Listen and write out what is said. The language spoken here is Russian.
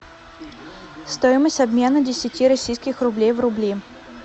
стоимость обмена десяти российских рублей в рубли